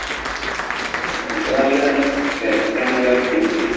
നല്ല taste ആണ് ഓരോ food